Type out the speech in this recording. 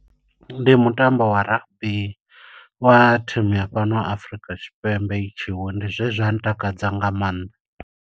Ndi mutambo wa rugby, wa thimu ya fhano Afrika Tshipembe i tshi wina. Ndi zwe zwa ntakadza nga maanḓa.